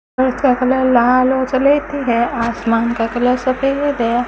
और उसका कलर लाल और स्लेटी आसमान का कलर सफेद है।